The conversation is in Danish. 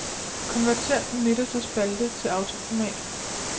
Konvertér den midterste spalte til autoformat.